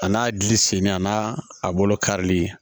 A n'a gili senni a n'a a bolo karili